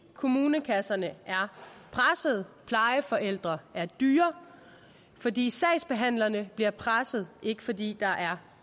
kommunekasserne er pressede plejeforældre er dyre fordi sagsbehandlerne bliver presset ikke fordi der er